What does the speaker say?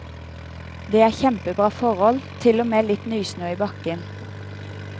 Det er kjempebra forhold, til og med litt nysnø i bakken.